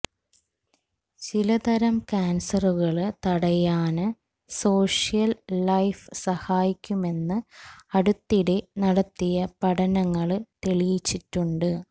ചിലതരം ക്യാന്സറുകള് തടയാന് സോഷ്യല് ലൈഫ് സഹായിക്കുമെന്ന് അടുത്തിടെ നടത്തിയ പഠനങ്ങള് തെളിയിച്ചിട്ടുണ്ട്